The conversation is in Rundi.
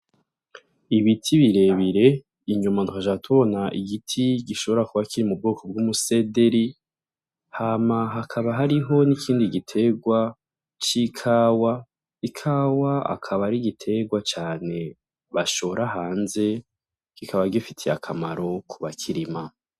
Ibiti birebire inyuma dukaca tubona igiti gishobora kuba kiri mu bwoko bw’umusederi hama hakaba hariho n’ikindi giterwa c’ikawa ,ikawa akaba ari igiterwa cane bashor hanze kikaba gifitiye akamaro kubakirima.